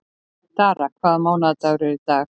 Dara, hvaða mánaðardagur er í dag?